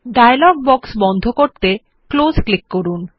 dialogue box বন্ধ করতে close click করুন